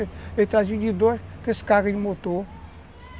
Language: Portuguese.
Ele trazia de dois, três cargas de motor.